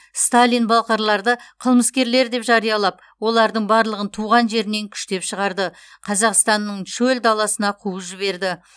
сталин балқарларды қылмыскерлер деп жариялап олардың барлығын туған жерінен күштеп шығарды қазақстанның шөл даласына қуып жіберді